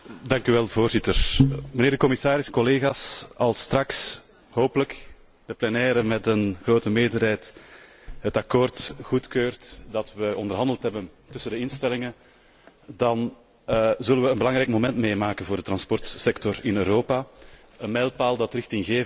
Voorzitter, commissaris, als straks hopelijk de plenaire met een grote meerderheid het akkoord goedkeurt dat we onderhandeld hebben tussen de instellingen, dan zullen we een belangrijk moment meemaken voor de transportsector in Europa, een mijlpaal die richtinggevend